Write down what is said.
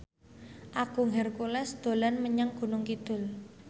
Agung Hercules dolan menyang Gunung Kidul